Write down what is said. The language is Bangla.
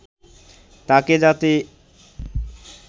তাকে যাতে